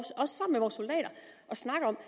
snakke om